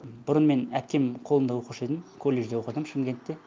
бұрын мен әпкемнің қолында оқушы едім колледжде оқыдым шымкентте